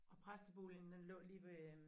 Og præsteboligen den lå lige ved øh